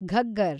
Ghaggar